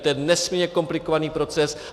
To je nesmírně komplikovaný proces.